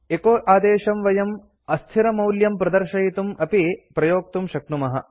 एचो आदेशं वयम् अस्थिरमौल्यं प्रदर्शयितुम् अपि प्रयोक्तुं शक्नुमः